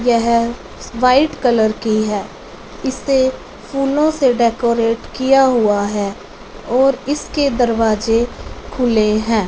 यह white colour की है इसे फूलों से डेकोरेट किया हुआ है और इसके दरवाजे खुले हैं।